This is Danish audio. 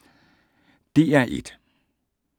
DR1